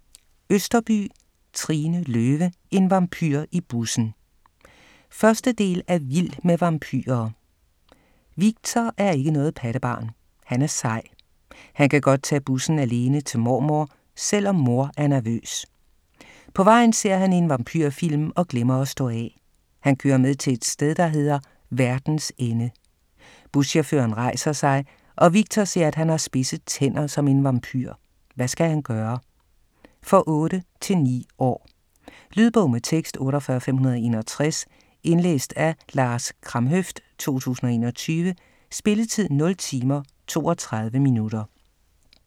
Østerbye, Trine Løve: En vampyr i bussen! 1. del af Vild med vampyrer. Viktor er ikke noget pattebarn, han er sej. Han kan godt tage bussen alene til mormor, selvom mor er nervøs. På vejen ser han en vampyrfilm og glemmer at stå af. Han kører med til et sted, der hedder "Verdens ende". Buschaufføren rejser sig, og Viktor ser, at han har spidse tænder som en vampyr. Hvad skal han gøre? For 8-9 år. Lydbog med tekst 48561 Indlæst af Lars Kramhøft, 2021. Spilletid: 0 timer, 32 minutter.